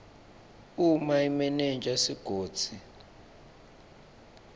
uma imenenja yesigodzi